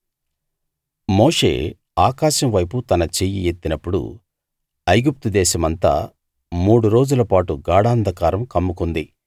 మోషే ఆకాశం వైపు తన చెయ్యి ఎత్తినప్పుడు ఐగుప్తు దేశమంతా మూడు రోజులపాటు గాఢాంధకారం కమ్ముకుంది